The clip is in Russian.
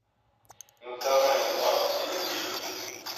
национальный парк серенгети